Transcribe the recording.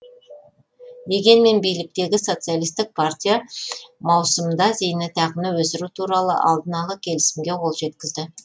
дегенмен биліктегі социалистік партия маусымда зейнетақыны өсіру туралы алдын ала келісімге қол жеткізді